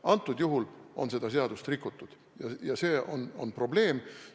Konkreetsel juhul on seda seadust rikutud ja see on probleem.